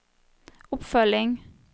oppfølging